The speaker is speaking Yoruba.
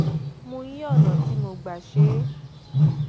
mo yí ọnà tí mo gbà ṣe é